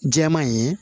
Jɛman in ye